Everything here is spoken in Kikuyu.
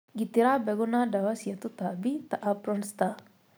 Gitĩra mbegũ na dawa cia tũtambi ta Apron star